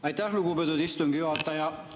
Aitäh, lugupeetud istungi juhataja!